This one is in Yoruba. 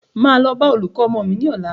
Máa lọ bá olùkọ́ ọmọ mí ní ọ̀la.